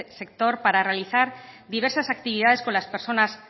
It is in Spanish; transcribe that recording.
sector para realizar diversas actividades con las personas